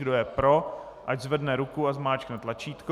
Kdo je pro, ať zvedne ruku a zmáčkne tlačítko.